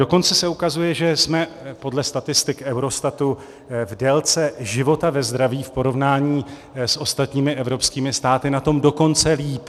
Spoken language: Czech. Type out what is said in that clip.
Dokonce se ukazuje, že jsme podle statistik Eurostatu v délce života ve zdraví v porovnání s ostatními evropskými státy na tom dokonce líp.